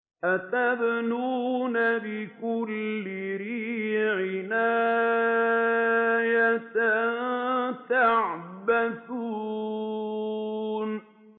أَتَبْنُونَ بِكُلِّ رِيعٍ آيَةً تَعْبَثُونَ